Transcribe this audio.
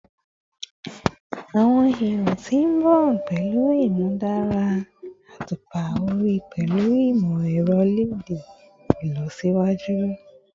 Awọn ero ti n bọ pẹlu imudara atupa ori pẹlu imọ-ẹrọ LED ilọsiwaju